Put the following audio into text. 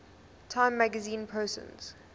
time magazine persons